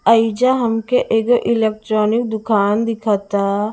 एइजा हमके एगो एलेक्ट्रोनिक दुकाम दिखता--